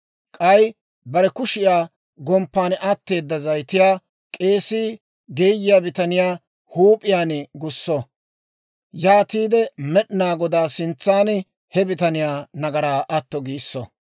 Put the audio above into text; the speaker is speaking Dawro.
K'ay bare kushiyaa gomppan atteeda zayitiyaa k'eesii geeyiyaa bitaniyaa huup'iyaan gusso; yaatiide Med'inaa Godaa sintsan he bitaniyaa nagaraa atto giisso.